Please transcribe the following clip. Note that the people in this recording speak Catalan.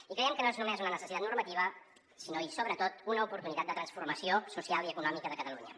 i creiem que no és només una necessitat normativa sinó i sobretot una oportunitat de transformació social i econòmica de catalunya